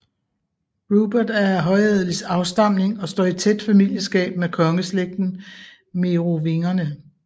Rupert er af højadelig afstamning og står i tæt familieskab med kongeslægten Merovingerne